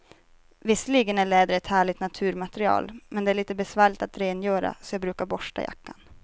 Visserligen är läder ett härligt naturmaterial, men det är lite besvärligt att rengöra, så jag brukar borsta jackan.